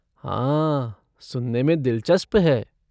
हाँ, सुनने में दिलचस्प है।